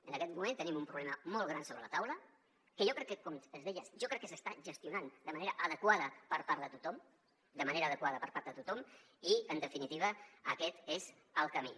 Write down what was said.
en aquest moment tenim un problema molt gran sobre la taula que jo crec que com es deia s’està gestionant de manera adequada per part de tothom de manera adequada per part de tothom i en definitiva aquest és el camí